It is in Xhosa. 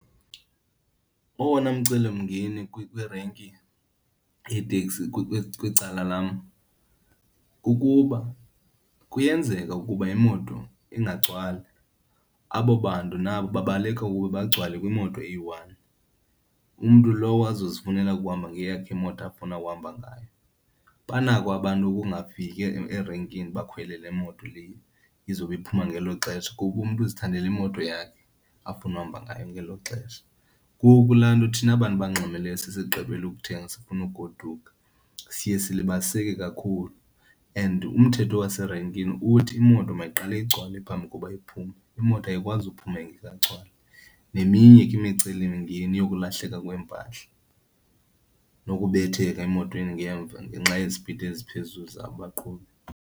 Owona mcelimngeni kwirenki yeeteksi kwicala lam kukuba kuyenzeka ukuba imoto ingagcwali, abo bantu nabo babaleka uba bagcwale kwimoto eyi-one, umntu lowo azozifunela ukuhamba ngeyakhe imoto afuna uhamba ngayo. Banako abantu ukungafiki erenkini bakhwele le moto le izobe iphuma ngelo xesha kuba umntu uzithandela imoto yakhe afuna uhamba ngayo ngelo xesha. Ngoku laa nto thina abantu abangxamileyo sesigqibile ukuthenga sifuna ukugoduka, siye silibaziseka kakhulu and umthetho waserenkini uthi imoto mayiqale igcwale phambi koba iphume, imoto ayikwazi uphuma ingekagcwali. Neminye ke imicelimngeni yokulahleka kweempahla nokubetheka emotweni ngemva ngenxa yezipidi eziphezulu zabaqhubi.